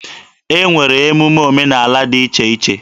E nwere emume omenaala dị iche iche.